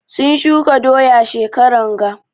Sun shuka doya shekaran ga.